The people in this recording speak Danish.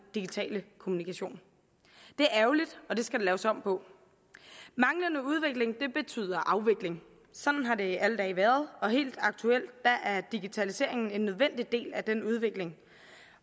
digitale kommunikation det er ærgerligt og det skal der laves om på manglende udvikling betyder afvikling sådan har det alle dage været og helt aktuelt er digitaliseringen en nødvendig del af den udvikling